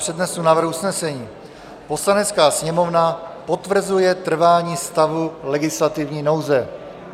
Přednesu návrh usnesení: "Poslanecká sněmovna potvrzuje trvání stavu legislativní nouze."